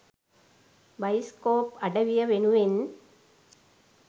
bioscope අඩවිය වෙනුවෙන්